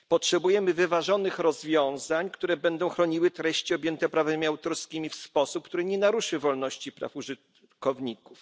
Potrzebujemy wyważonych rozwiązań, które będą chroniły treści objęte prawami autorskim w sposób, który nie naruszy wolności praw użytkowników.